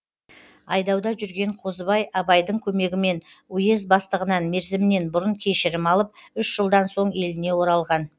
айдауда жүрген қозыбай абайдың көмегімен уезд бастығынан мерзімінен бұрын кешірім алып үш жылдан соң еліне оралған